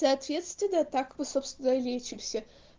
соответственно так мы собственно и лечимся